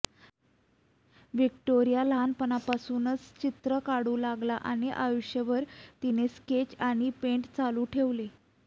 Victoria लहानपणापासून चित्र काढू लागला आणि आयुष्यभर तिने स्केच आणि पेंट चालू ठेवले